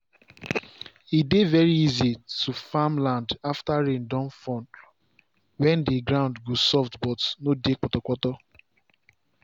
e dey very easy to farm land after rain don fall when the ground go soft but no dey potopoto.